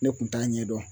Ne kun t'a ɲɛdɔn